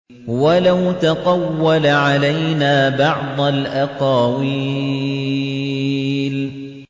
وَلَوْ تَقَوَّلَ عَلَيْنَا بَعْضَ الْأَقَاوِيلِ